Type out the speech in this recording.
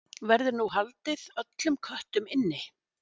Verður nú að halda öllum köttum inni?